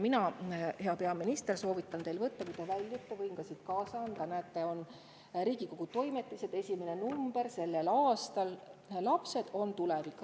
Mina, hea peaminister, soovitan teil väljudes kaasa võtta – võin selle ka siit puldist teile kaasa anda, näete – Riigikogu Toimetiste selle aasta esimese numbri "Lapsed on tulevik".